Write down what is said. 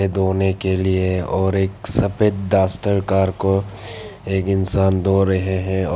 धोने के लिए और एक सफेद डस्टर कार को एक इंसान धो रहे हैं और--